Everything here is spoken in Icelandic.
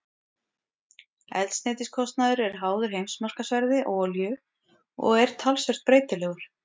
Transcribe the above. Eldsneytiskostnaður er háður heimsmarkaðsverði á olíu og er talsvert breytilegur.